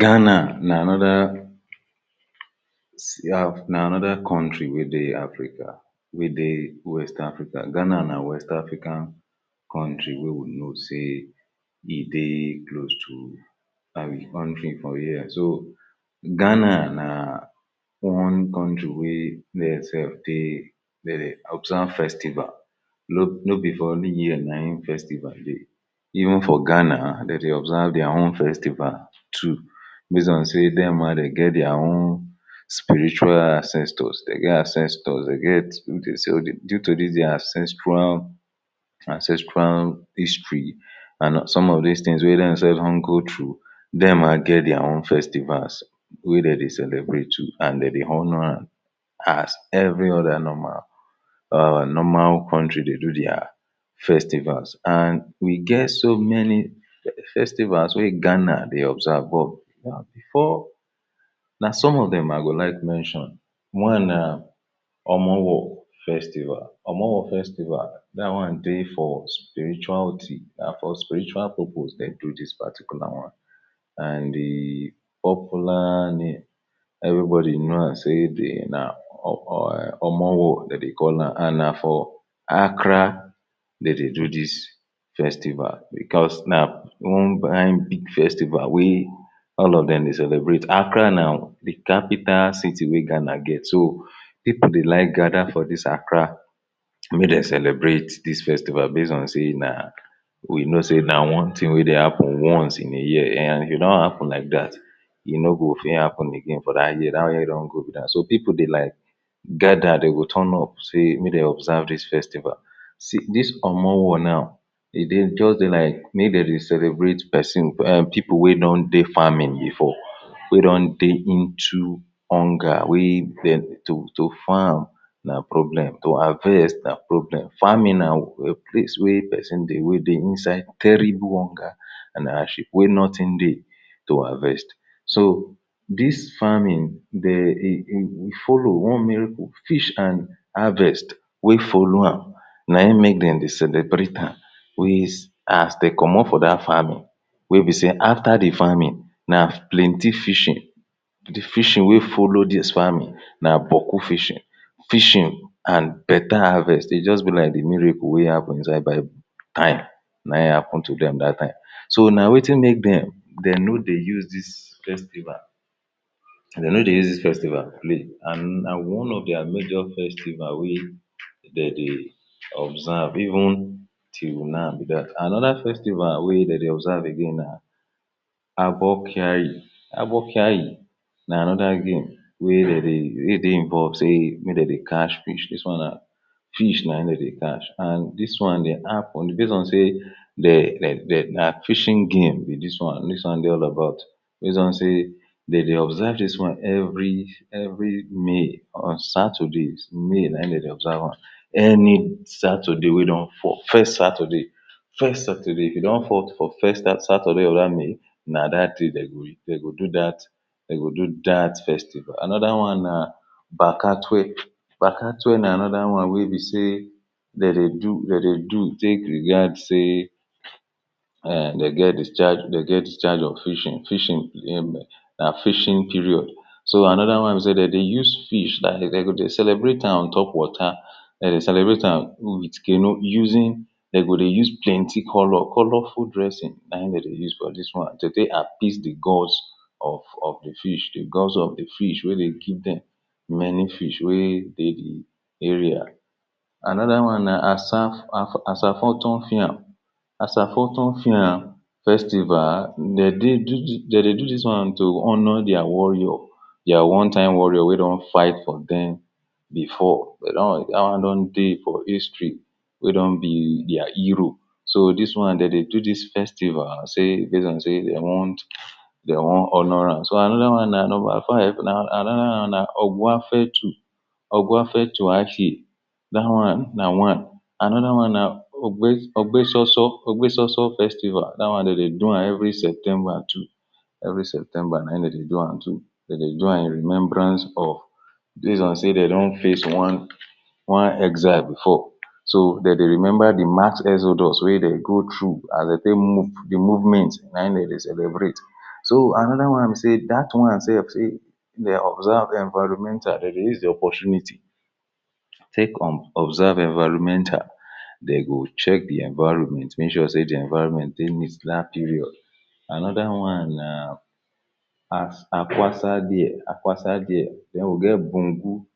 Ghana na anoda na anoda country wey dey Africa wey dey west Africa, Ghana na West African country wey we know say e dey close to kontri for here, so, Ghana na one kontri wey there sef dey dey observe festival nobi for only here na im festival dey even for Ghana dem dey observe dia own festival too base on say dem ma dem now dey get dia own spiritual ancestors dem get ancestors dem get, due to dis dia ancestral ancestral history and some of dis tins wey dem sef don go through dem ma get dia own festivals wey dem dey celebrate too and dem dey honor am as evri oda normal our normal kontri dey do dia festivals and we get so many festivals wey Ghana dey observe but, bifor, na some of dem i go like mention one na, Homowo festival. Homowo festival, dat one dey for spirituality na for spiritual purpose dem do dis particular one and di popular name evribodi know am say dey na Homowo dem dey call am and for Accra dem dey do dis festival bicos na one kain big festival wey all of dem dey celebrate, Accra na di kapital city wey Ghana get so, pipo dey like gada for dis Accra make dem celebrate dis festival base on say na we know say na one tin wey dey happen once in a year and e don happun like dat e no go fit happun again for dat year dat one don go be dat, so pipo dey like gada dem go turn up say make dem observe dis festisval see, dis Homowo now, dey dey just dey like, make dem dey celebrate, person um pipo wey don dey farming bifor wey don dey into hunger wey dem to to farm na problem to harvest na problem farming na place wey pesin dey wey dey inside terrible hunger and hard ship wey notin dey to harvest so, dis, farming dey, e e follow wan miracle fish and harvest wey follow am na im make dem dey celebrate am ways as dey comot for dat farming wey be say afta di farming na plenty fishing di fishing wey follow dis farming na gboku fishing fishing and better harvest dey just be like di miracle wey happun inside bible tire na im happun to dem dat time so na wetin make dem dem no dey use dis festival dem no dey use dis festival play. and one of dia major festival wey dem dey observe even till now be dat anoda festival wey dem observe again na Abokiyayi abokiyayi na anoda game wey dey dey, we dey involve say make dem dey catch fish, dis one na fish na im dem dey catch and dis one dey happen base on say dey dey dey na fishing game be dis one dis one dey all about base on say dem dey observe dis one evri evri May on saturdays May na im dem dey observe am any, saturday wey don, for first saturday first saturday e don fall for first saturday of dat may na dat day dem go dem go do dat dem go do dat festival. anoda one na Bakatue. Bakatue na anoda one wey be say dem dey do, dem dey do take react say um, dem get dem get discharge dem get discharge of fishing, fishing um na fishing period So, anoda one sey dem use fish dem go dey celebrate am on top water dem celebate am wit canoe using dem go dey use plenty color, colorful dresing na im dem dey use for dis one to take appease di gods of of di fish di gods of di fish wey dey give dem many fish wey dey di area. Anoda one na Asaf, Asafotufiam. Asafotufiam festival, dem dey dem dey do dis one to honor dia warrior dia one time warrior wey don fight for dem bifor, but dat one don dey for histori wey don be dia hero so, dis one dem dey do dis festival say, base on say dem wan dem wan honor am. So, anoda one na number five, na anoda one na Ogwafetu Ogwafetu Aki dat one na one anoda one na Ogbe Ogbesoso, Ogbesoso festival. dat one dem dey do am evri septemba too evri septemba na im dem dey do am too dem dey do am in remembrance of base on say dem don face one one exile bifor so dem dey remember di mass exodus wey dem go through as dem take move, di movment na im dem dey celebrate. So, anoda one be say dat one sef sey dey observe di enviromenta dem dey use di opotuniti take observe enviromenta dem go check di enviroment make sure say di enviroment dey neat dat period. Anoda one na, as Akwasa Diye, Akwasa Diye. Den we get Bugum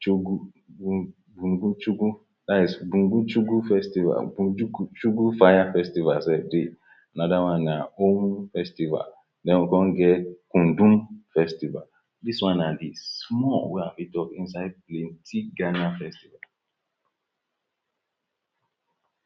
Chogu bugum Bugum Chogu dats Bugum Chogu Festival, Bugum Chogu fire festival sef dey. Anoda one na Ohum festival den we come get Kundum festival. Dis one na di small wey i fit talk inside di plenty Ghana festival